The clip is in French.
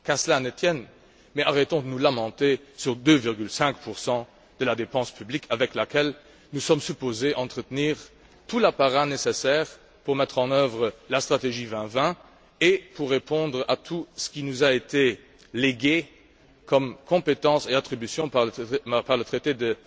Qu'à cela ne tienne! Mais arrêtons de nous lamenter sur 2,5 de la dépense publique avec laquelle nous sommes supposés entretenir tout l'appareil nécessaire pour mettre en œuvre la stratégie 2020 et pour répondre à tout ce qui nous a été légué comme compétences et attributions par le traité de